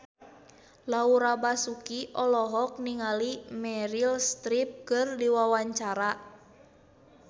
Laura Basuki olohok ningali Meryl Streep keur diwawancara